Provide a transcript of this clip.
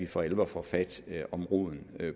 for alvor får fat om roden